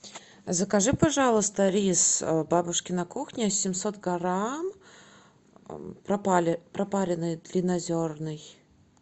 закажи пожалуйста рис бабушкина кухня семьсот грамм пропаренный длиннозерный